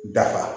Dafa